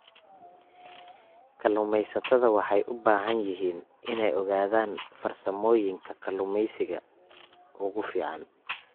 Kalluumeysatada waxay u baahan yihiin inay ogaadaan farsamooyinka kalluumeysiga ugu fiican.